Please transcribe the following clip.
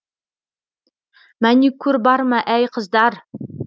мәникур бар ма әй қыздар